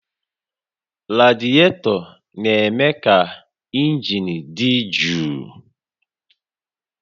Radietọ na-eme ka injin dị jụụ